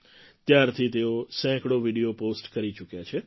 ત્યારથી તેઓ સેંકડો વિડિયો પૉસ્ટ કરી ચૂક્યા છે